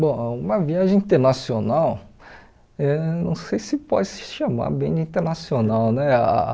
Bom, uma viagem internacional, eh não sei se pode se chamar bem de internacional, né? Ah